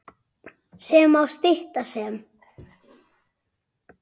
sem má stytta sem